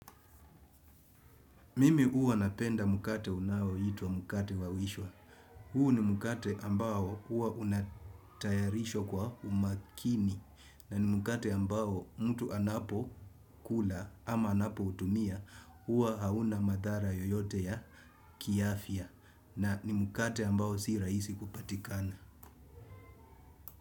Mimi huwa napenda mkate unao ituwa mkate wawishwa. Huu ni mkate ambao huwa unatayarishwa kwa umakini. Na ni mukate ambao mtu anapo kula ama anapo utumia. Huwa hauna madhara yoyote ya kiafya. Na ni mkate ambao si rahisia kupatikana.